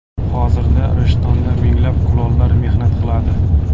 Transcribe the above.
Hozirda Rishtonda minglab kulollar mehnat qiladi.